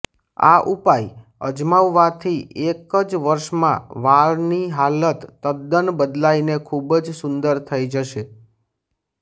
આ ઉપાય અજમાવવાથી એક જ વર્ષમાં વાળની હાલત તદ્દન બદલાઇને ખૂબ જ સુંદર થઇ જશે